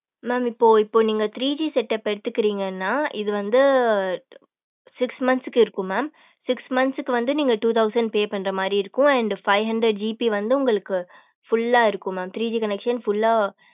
mam இப்போ இப்போ நீங்க three G setup எடுத்துக்கறீங்கன்னா இது வந்து six months க்கு இருக்கு mam six month க்கு வந்து நீங்க two thousand pay பண்ற மாரி இருக்கும் and five hundred GB வந்து உங்களுக்கு full லா இருக்கும் mam three G connectio full லா